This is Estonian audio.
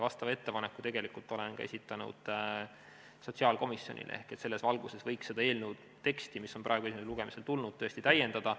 Vastava ettepaneku olen ka esitanud sotsiaalkomisjonile, et selles valguses võiks seda eelnõu teksti, mis on praegu esimesele lugemisele tulnud, tõesti täiendada.